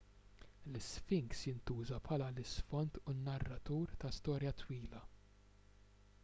l-isfinks jintuża bħala l-isfond u n-narratur ta' storja twila